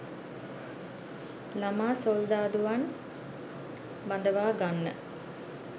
‘ළමා සොල්දාදුවන්’ බඳවා ගන්න